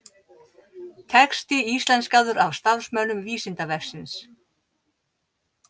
Texti íslenskaður af starfsmönnum Vísindavefsins.